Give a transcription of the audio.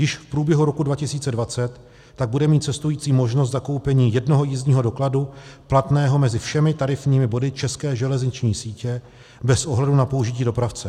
Již v průběhu roku 2020 tak bude mít cestující možnost zakoupení jednoho jízdního dokladu platného mezi všemi tarifními body české železniční sítě bez ohledu na použití dopravce.